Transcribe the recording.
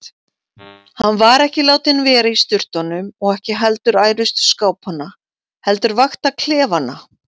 Hann var ekki látinn vera í sturtunum og ekki heldur ærustu skápanna heldur vakta klefana.